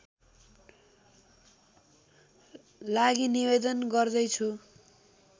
लागि निवेदन गर्दैछु